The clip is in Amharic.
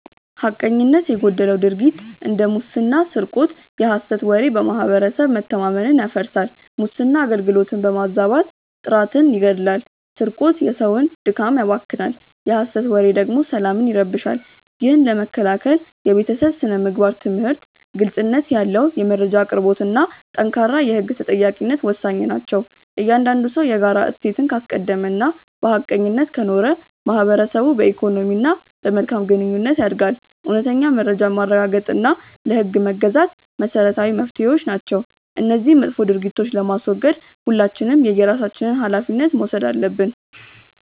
ሐቀኝነት የጎደለው ድርጊት እንደ ሙስና ስርቆት የሐሰት ወሬ በማህበረሰብ መተማመንን ያፈርሳል። ሙስና አገልግሎትን በማዛባት ጥራትን ይገድላል ስርቆት የሰውን ድካም ያባክናል የሐሰት ወሬ ደግሞ ሰላምን ይረብሻል። ይህን ለመከላከል የቤተሰብ ስነ-ምግባር ትምህርት፣ ግልጽነት ያለው የመረጃ አቅርቦትና ጠንካራ የህግ ተጠያቂነት ወሳኝ ናቸው። እያንዳንዱ ሰው የጋራ እሴትን ካስቀደመና በሐቀኝነት ከኖረ ማህበረሰቡ በኢኮኖሚና በመልካም ግንኙነት ያድጋል። እውነተኛ መረጃን ማረጋገጥና ለህግ መገዛት መሰረታዊ መፍትሄዎች ናቸው። እነዚህን መጥፎ ድርጊቶች ለማስወገድ ሁላችንም የየራሳችንን ሃላፊነት መውሰድ አለብን።